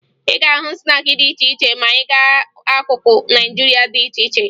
Ị ga-ahụ snaakị dị iche iche ma ị gaa n'akụkụ Naịjirịa dị iche iche